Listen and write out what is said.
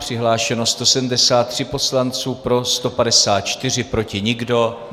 Přihlášeno 173 poslanců, pro 154, proti nikdo.